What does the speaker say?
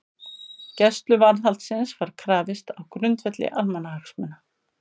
Gæsluvarðhaldsins var krafist á grundvelli almannahagsmuna